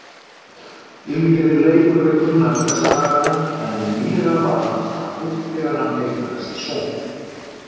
Lífið leikur við Gunnar þessa dagana en nýlega varð hann faðir þegar hann eignaðist son.